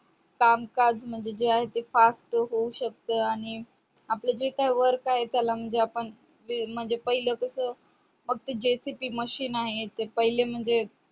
काम काज म्हणजे जे आहे ते fast होऊ शक्त आणि आपले जे काही work आहे त्याला म्हणजे आपण ते पहिले कस फक्त JCP MACHINE आहे ते पहिले म्हणजे